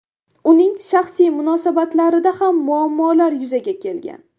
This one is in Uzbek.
Uning shaxsiy munosabatlarida ham muammolar yuzaga kelgan.